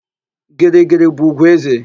Girigiri bụ ùgwù éze.